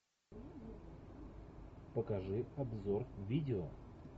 покажи обзор видео